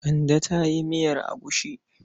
Kande ta yi miyar agushi.